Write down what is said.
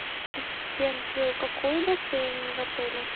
ассистент какой бассейн в отеле